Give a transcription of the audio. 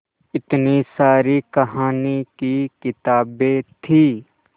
इतनी सारी कहानी की किताबें थीं